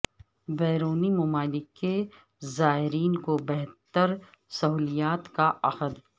بیرونی ممالک کے زائرین کو بہتر سہولیات کا عہد